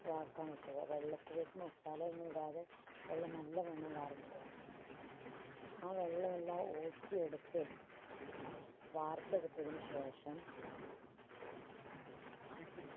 വാർക്കാൻ വെക്കുക. വെള്ളത്തിലേക്ക് masala ഒന്നും ഇടാതെ വെള്ളം നല്ലവണ്ണം വാർന്നു പോകുക. ആ വെള്ളമെല്ലാം ഊറ്റിയെടുത്ത് വാർത്തെടുത്തതിന് ശേഷം ആറ്റി